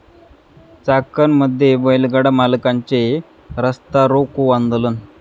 चाकणमध्ये बैलगाडा मालकांचे रास्तारोको आंदोलन